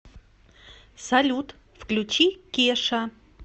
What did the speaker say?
салют включи кеша